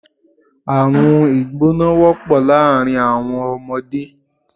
Àrùn ìgbóná wọ́pọ̀ láàárín àwọn ọmọdé